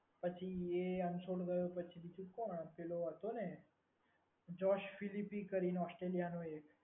ગયો એ અનફોલ્ડ ગયો પછી બીજું કોણ પેલો હતો ને જોશ વિદીપી કરીને ઓસ્ટ્રેલિયા નો એક.